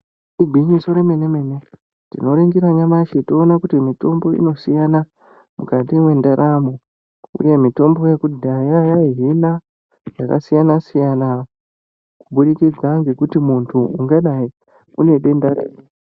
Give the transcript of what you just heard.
Igwinyiso remene-mene tinoringira nyamashi toona kuti mitombo inosiyana mukati mwendaramo uye mitombo yekudhaya yaihina zvakasiyana-siyana kuburikidza ngekuti muntu ungadai unedenda riri.